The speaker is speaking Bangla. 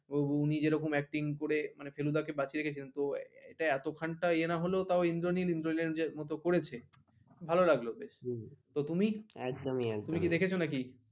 উনি যেরকম Acting করে মানে ফেলুদা কে বাঁচিয়ে রেখেছে তো এটা এত খান তো ইয়ে না হলো ইন্দ্রনীল ইন্দ্রলিনের মত করেছে ভালো লাগলো বেশ তুমি একদমই একদমই। তুমি কি দেখেছো নাকি?